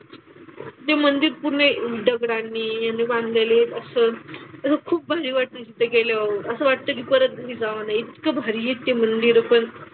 ते मंदिर पूर्ण दगडांनी यांनी बांधलेले असं त्यामुळं खूप भारी वाटतं तिथे गेल्यावर. असं वाटतं की परत घरी जाऊ नये. इतकं भारी आहे ते मंदिरं पण.